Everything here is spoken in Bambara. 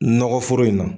Nɔgɔ foro in na